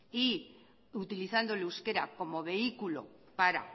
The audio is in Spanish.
y utilizando el euskera como vehículo para